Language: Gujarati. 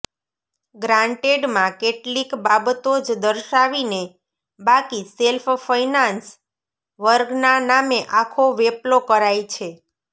ગ્રાન્ટેડમાં કેટલીક બાબતો જ દર્શાવીને બાકી સેલ્ફ્ ફઈનાન્સ વર્ગના નામે આખો વેપલો કરાઇ છે